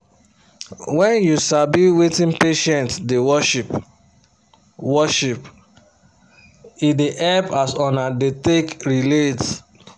wen u sabi wetin patient da worship worship e da hep as una da take relate